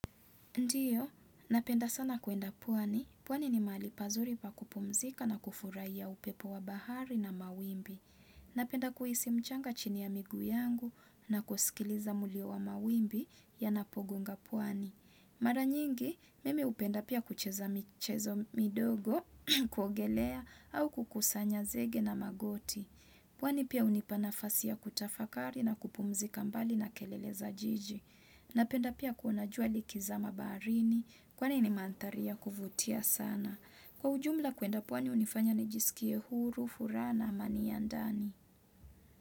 Ndiyo, napenda sana kuenda pwani. Pwani ni mahali pazuri pa kupumzika na kufurahia upepo wa bahari na mawimbi. Napenda kuhisi mchanga chini ya miguu yangu na kusikiliza mlio wa mawimbi yanapogonga pwani. Mara nyingi, mimi hupenda pia kucheza michezo midogo, kuogelea au kukusanya zege na magoti. Pwani pia hunipa nafasi ya kutafakari na kupumzika mbali na kelele za jiji. Napenda pia kuona jua likizama baharini kwani ni mandharia kuvutia sana. Kwa ujumla kwenda pwani hunifanya nijisikie huru, furaha, amani ya ndani.